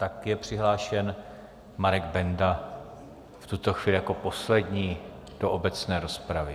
Tak je přihlášen Marek Benda v tuto chvíli jako poslední do obecné rozpravy.